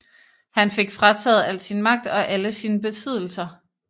Han fik frataget al sin magt og alle sine besiddelser